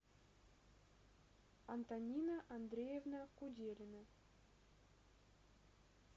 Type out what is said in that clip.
антонина андреевна куделина